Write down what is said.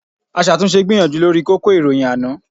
Aṣàtúnṣe gbìyànjú lórí kókó ìròyìn àná